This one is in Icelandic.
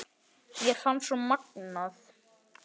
Mér fannst svo gaman.